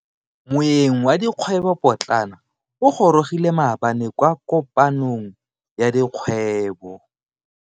Moeng wa dikgwebo potlana o gorogile maabane kwa kopanong ya dikgwebo.